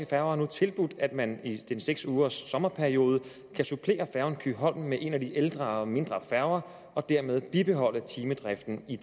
færger nu tilbudt at man i den seks ugers sommerperiode kan supplere færgen kyholm med en af de ældre og mindre færger og dermed bibeholde timedriften i